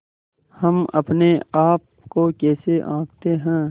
हम अपने आप को कैसे आँकते हैं